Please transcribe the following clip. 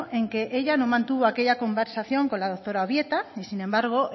en que ella no mantuvo aquella conversación con la doctora ubieta y sin embargo